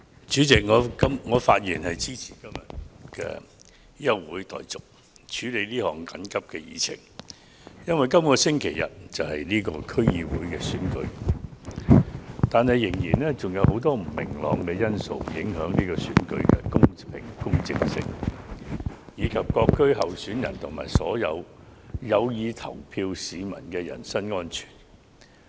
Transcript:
主席，我發言支持今天的休會待續議案，優先處理這項緊急的議程，因為本周日便舉行區議會選舉，但卻仍有許多不明朗因素會影響這場選舉的公平性，以及各區候選人和所有有意投票市民的人身安全。